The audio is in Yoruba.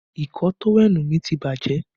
Ìkọ̀ọ́ tówẹ́ẹ̀nù mi ti bàjẹ́